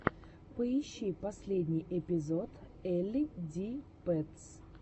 поищи последний эпизод элли ди пэтс